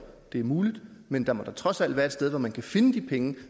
det er muligt men der må da trods alt være et sted hvor man kan finde de penge